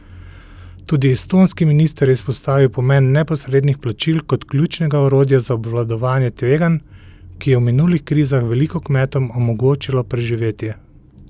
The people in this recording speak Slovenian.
Tudi estonski minister je izpostavil pomen neposrednih plačil kot ključnega orodja za obvladovanje tveganj, ki je v minulih krizah veliko kmetom omogočilo preživetje.